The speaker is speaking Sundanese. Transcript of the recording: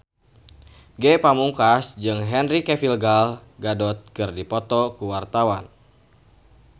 Ge Pamungkas jeung Henry Cavill Gal Gadot keur dipoto ku wartawan